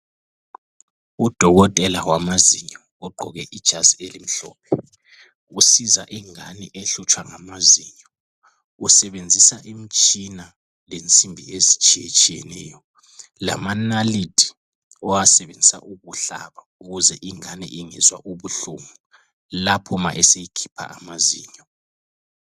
Udokotela wamazinyo ogqoke ijazi elimhlophe. Usiza ingane ehlutshwa ngamazinyo. Usebenzisa imtshina lensimbi ezitshiyetshineyo. Lama nalithi owasebenzisa ukuhlaba ukuze ingane ingezwa ubuhlungu lapho ma eseyikhipha amazinyo.